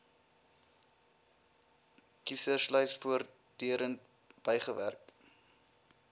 kieserslys voortdurend bygewerk